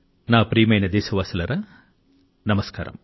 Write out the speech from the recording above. నా ప్రియమైన దేశవాసులారా నమస్కారం